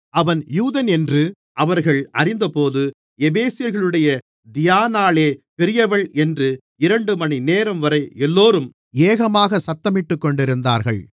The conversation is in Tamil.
அவன் யூதனென்று அவர்கள் அறிந்தபோது எபேசியர்களுடைய தியானாளே பெரியவள் என்று இரண்டுமணி நேரம்வரை எல்லோரும் ஏகமாகச் சத்தமிட்டுக்கொண்டிருந்தார்கள்